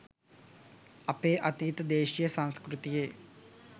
අපේ අතීත දේශීය සංස්කෘතියෙ